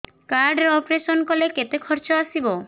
card ରେ operation କଲେ କେତେ ଖର୍ଚ ଆସିବ